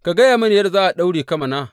Ka gaya mini yadda za a daure ka mana.